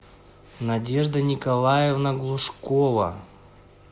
надежда николаевна глушкова